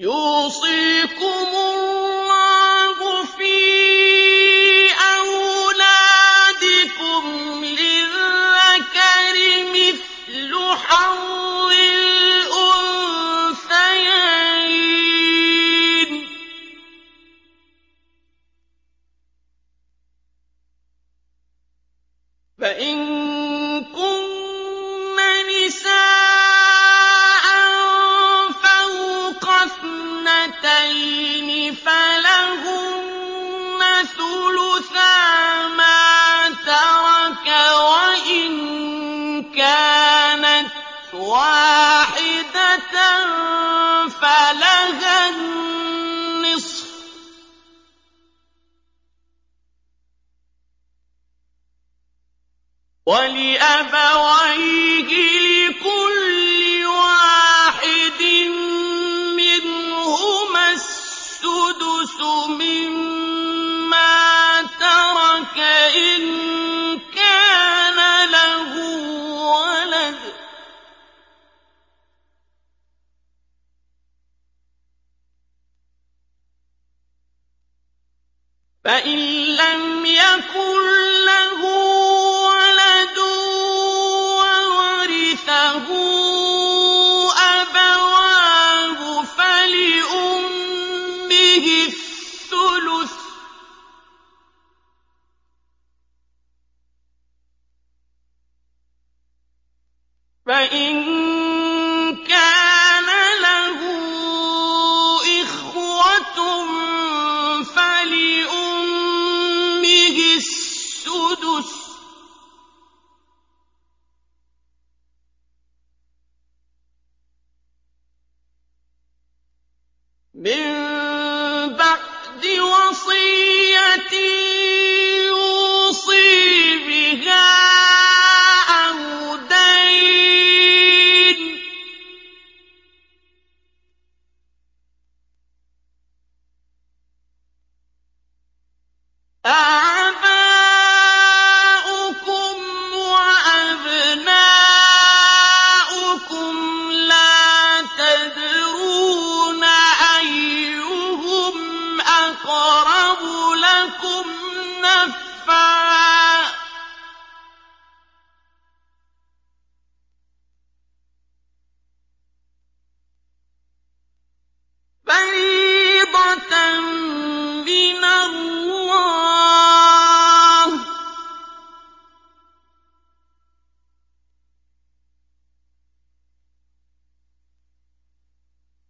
يُوصِيكُمُ اللَّهُ فِي أَوْلَادِكُمْ ۖ لِلذَّكَرِ مِثْلُ حَظِّ الْأُنثَيَيْنِ ۚ فَإِن كُنَّ نِسَاءً فَوْقَ اثْنَتَيْنِ فَلَهُنَّ ثُلُثَا مَا تَرَكَ ۖ وَإِن كَانَتْ وَاحِدَةً فَلَهَا النِّصْفُ ۚ وَلِأَبَوَيْهِ لِكُلِّ وَاحِدٍ مِّنْهُمَا السُّدُسُ مِمَّا تَرَكَ إِن كَانَ لَهُ وَلَدٌ ۚ فَإِن لَّمْ يَكُن لَّهُ وَلَدٌ وَوَرِثَهُ أَبَوَاهُ فَلِأُمِّهِ الثُّلُثُ ۚ فَإِن كَانَ لَهُ إِخْوَةٌ فَلِأُمِّهِ السُّدُسُ ۚ مِن بَعْدِ وَصِيَّةٍ يُوصِي بِهَا أَوْ دَيْنٍ ۗ آبَاؤُكُمْ وَأَبْنَاؤُكُمْ لَا تَدْرُونَ أَيُّهُمْ أَقْرَبُ لَكُمْ نَفْعًا ۚ فَرِيضَةً مِّنَ اللَّهِ ۗ